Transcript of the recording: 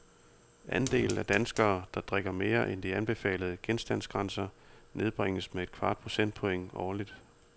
Andelen af danskere, der drikker mere end de anbefalede genstandsgrænser, nedbringes med et kvart procentpoint årligt.